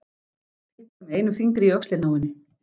Pikkar með einum fingri í öxlina á henni.